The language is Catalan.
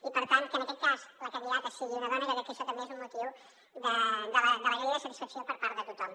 i per tant que en aquest cas la candidata sigui una dona jo crec que això també és un motiu d’alegria i de satisfacció per part de tothom